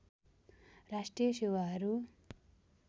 राष्ट्रिय सेवाहरू